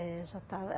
É, já estava.